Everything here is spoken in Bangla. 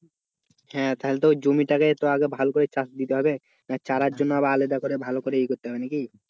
হ্যাঁ তাহলে ওই জমিটাকে তো আগে ভালো করে চাষ দিতে হবে। না চারার জন্য আলাদা করে ভালো করে এ করতে হবে নাকি?